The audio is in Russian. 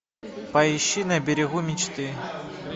поищи на берегу мечты